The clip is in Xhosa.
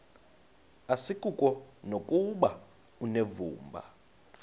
asikuko nokuba unevumba